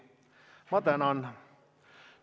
Ma tänan!